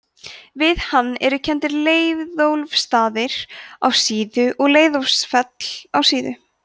við hann eru kenndir leiðólfsstaðir á síðu og leiðólfsfell á síðu